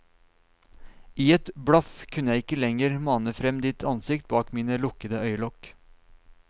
I et blaff kunne jeg ikke lenger mane frem ditt ansikt bak mine lukkede øyelokk.